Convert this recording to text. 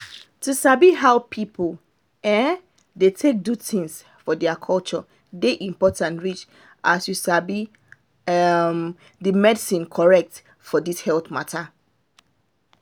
to sabi how people um dey take do things for their culture dey important reach as you sabi um the medicine correct thing for this health mata